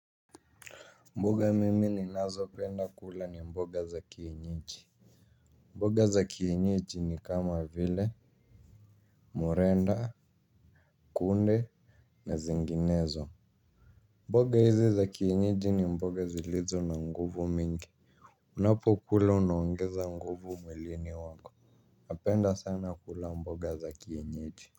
Mboga mimi ninazo penda kula ni mboga za kienyeji mboga za kieyeji ni kama vile morenda kunde na zinginezo mboga hizi za kienyeji ni mboga zilizo na nguvu mingi. Unapo kula unaongeza nguvu mwilini wako napenda sana kula mboga za kienyeji.